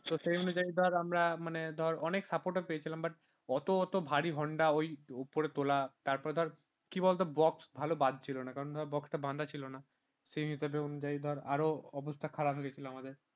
তো সেই অনুযায়ী ধর আমরা মানে ধর অনেক support পেয়েছিলাম অতএত ভারি honda ওই ওপরে তোমরা তারপরে ধর কি বলতো box ভালো ভালো বা ছিল না কারণ টা বাধা ছিল না সেই হিসাবে অনুযায়ী ধরার অবস্থা খারাপ হয়ে গেছিল আমাদের